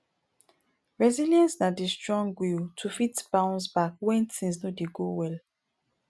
resillience na di strong will to fit bounce back when things no dey go well